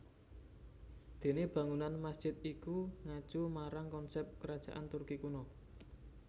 Dene bangunan masjid iku ngacu marang konsep Kerajaan Turki kuno